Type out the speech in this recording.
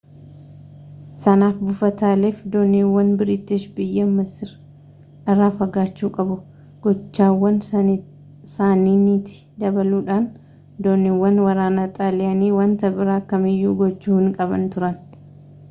sanaaf buufataalee fi dooniiwwan biriitish biyya masir irraa fagaachuu qabu gochawwan sanniinitti dabaluudhaan dooniiwwan waraanaa xaaliyaanii wanta biraa kam iyyuu gochuu hinqaban turan